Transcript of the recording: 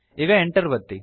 ಈಗ Enter ಒತ್ತಿ